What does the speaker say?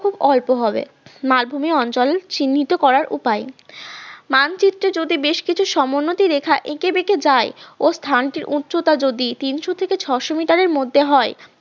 খুব অল্প হবে, মালভূমি অঞ্চল চিহ্নিত করার উপায়, মানচিত্রে যদি বেশ কিছু সমোন্নতি রেখা একে বেঁকে যায় অবস্থানটি উচ্চতা যদি তিন থেকে ছয়শ মিটারের মধ্যে হয়